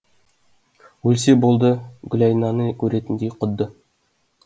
өлсе болды гүлайнаны көретіндей құдды